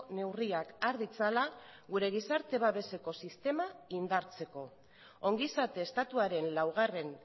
neurriak har ditzala gure gizarte babeseko sistema indartzeko ongizate estatuaren laugarren